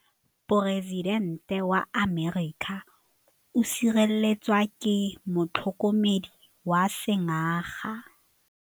Poresitêntê wa Amerika o sireletswa ke motlhokomedi wa sengaga.